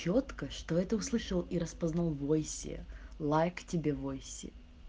чётко что это услышал и распознал в войсе лайк тебе в войсе